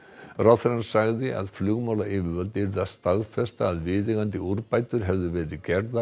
ráðherrann sagði að flugmálayfirvöld yrðu að staðfesta að viðeigandi úrbætur hefðu verið gerðar